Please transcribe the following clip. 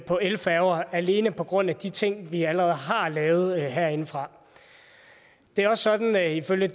på elfærger alene på grund af de ting vi allerede har lavet herindefra det er også sådan at ifølge